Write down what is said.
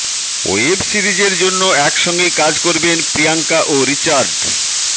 web সিরিজের জন্য একসঙ্গেই কাজ করবেন প্রিয়াঙ্কা ও রিচার্ড